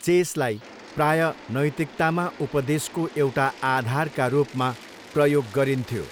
चेसलाई प्रायः नैतिकतामा उपदेशको एउटा आधारका रूपमा प्रयोग गरिन्थ्यो।